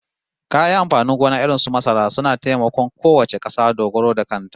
Kayan amfanin gona irin su masara suna taimakon kowace kasa dogaro da kanta